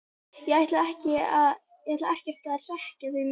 Ég ætla ekkert að hrekkja þig núna,